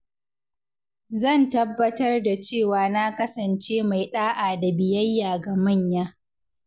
Zan tabbatar da cewa na kasance mai ɗa’a da biyayya ga manya.